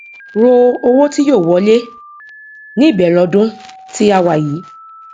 ro owó tí yóò wọlé ní ìbẹrẹ ọdún tí a wà yìí